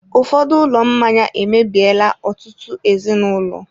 Ụfọdụ ụlọ mmanya emebiela ọtụtụ ezinụlọ.